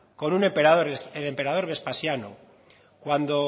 con un emperador el emperador vespasiano cuando